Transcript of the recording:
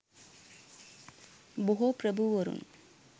බොහෝ ප්‍රභූවරුන්